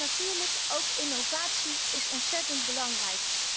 Natuurlijk is innovatie ook ontzettend belangrijk.